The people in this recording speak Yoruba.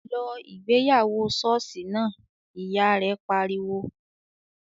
"Lọ ìgbéyàwó ṣọ́ọ̀ṣì náà!", Ìyá rẹ̀ pariwo